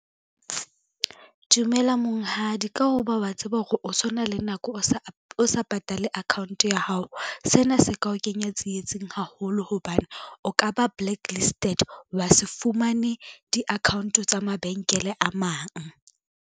Dumela monghadi ka ho ba wa tseba hore o so na le nako o sa patale account ya hao, sena se ka o kenya tsietsing haholo hobane o ka ba blacklisted, wa se fumane di-account tsa mabenkele a mang.